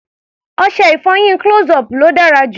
Ọṣẹ-ìfọyín close-up ló dára jù.